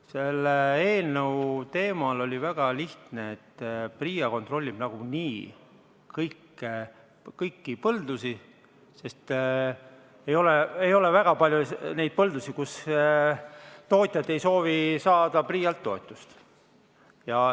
Selle eelnõu teemal oli väga lihtne põhimõte: PRIA kontrollib nagunii kõiki põldusid, sest ei ole väga palju neid põldusid, kus tootjad ei soovi saada PRIA-lt toetust.